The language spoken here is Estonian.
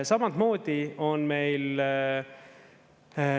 Samamoodi on meil …